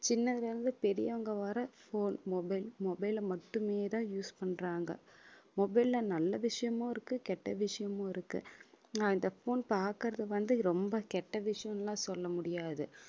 சின்னதுல இருந்து பெரியவங்க வரை phone mobile mobile ஐ மட்டுமேதான் use பண்றாங்க mobile ல நல்ல விஷயமும் இருக்கு கெட்ட விஷயமும் இருக்கு நான் இந்த phone பாக்குறது வந்து ரொம்ப கெட்ட விஷயம்னு எல்லாம் சொல்ல முடியாது